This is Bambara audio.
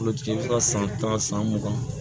Olu tigi bɛ se ka san tan san mugan